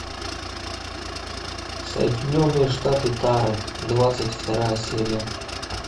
соединенные штаты тары двадцать вторая серия